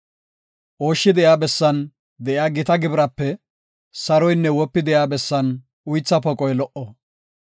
Ooshshi de7iya bessan de7iya gita gibiraape saroynne wopi de7iya bessan uytha poqoy lo77o.